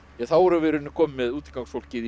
þá erum við í rauninni komin með